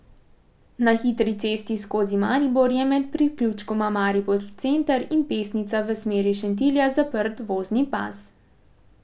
Na hitri cesti skozi Maribor je med priključkoma Maribor center in Pesnica v smeri Šentilja zaprt vozni pas.